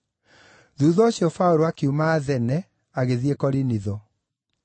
Thuutha ũcio, Paũlũ akiuma Athene agĩthiĩ Korinitho.